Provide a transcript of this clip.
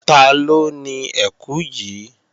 Taló ni ẹkù yìí?